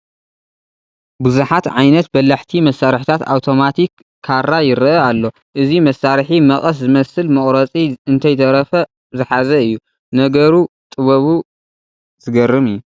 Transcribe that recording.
ብዙሓት ዓይነት በላሕቲ መሳርሕታት ኣውቶማቲክ ካራ ይርአ ኣሎ፡፡ እዚ መሳርሒ መቐስ ዝመስል መቑረፂ እንተይተረፈ ዝሓዘ እዩ ፡፡ ነገረ ጥበቡ ዝገርም እዩ፡፡